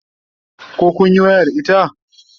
koh kunyi waya da ita?